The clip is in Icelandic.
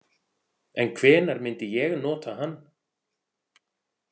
En hvenær myndi ég nota hann?